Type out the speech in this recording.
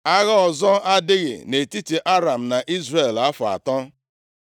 Agha ọzọ adaghị nʼetiti Aram na Izrel afọ atọ.